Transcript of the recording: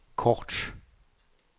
kort